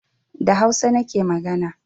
Da hausa nake magana